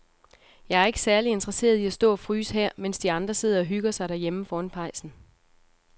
Jeg er ikke særlig interesseret i at stå og fryse her, mens de andre sidder og hygger sig derhjemme foran pejsen.